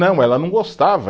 Não, ela não gostava.